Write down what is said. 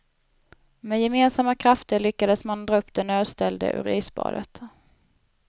Med gemensamma krafter lyckades man dra upp den nödställde ur isbadet.